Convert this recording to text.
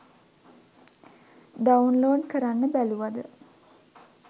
Download කරන්න බැලුවද?